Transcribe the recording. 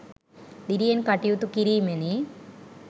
දිරියෙන් කටයුතු කිරීමෙනි.